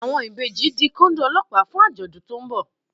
Àwọn ìbejì di Kóndó Ọlọ́pàá fún àjọ̀dún tó ń bọ̀